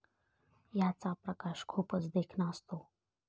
ह्याचा प्रकाश खूपच देखणा असतो.